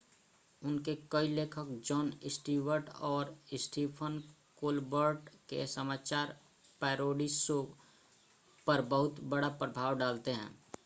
उनके कई लेखक जॉन स्टीवर्ट और स्टीफ़न कोलबर्ट के समाचार पैरोडी शो पर बहुत बड़ा प्रभाव डालते हैं